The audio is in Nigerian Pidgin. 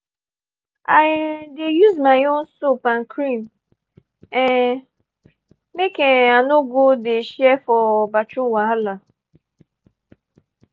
i um dey use my own soap and cream um make um i no go dey share for bathroom wahala.